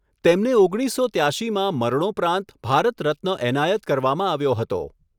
તેમને ઓગણીસસો ત્યાશીમાં મરણોપરાંત ભારત રત્ન એનાયત કરવામાં આવ્યો હતો.